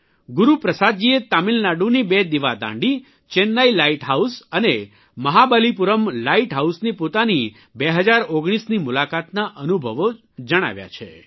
ગુરૂપ્રસાદજીએ તમિલનાડુની બે દિવાદાંડી ચેન્નાઇ લાઇટ હાઇસ અને મહાબલીપુરમ લાઇટ હાઉસની પોતાની 2019ની મુલાકાતના અનુભવો જણાવ્યા છે